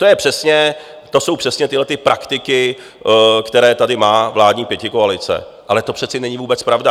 To jsou přesně tyto praktiky, které tady má vládní pětikoalice, ale to přece není vůbec pravda.